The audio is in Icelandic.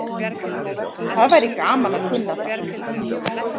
Það væri gaman að kunna það.